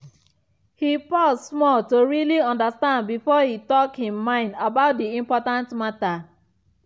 he pause small to really understand before he talk him mind about the important matter.